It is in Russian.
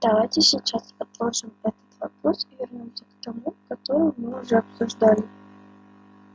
давайте сейчас отложим этот вопрос и вернёмся к тому который мы уже обсуждали